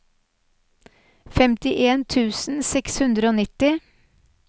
femtien tusen seks hundre og nitti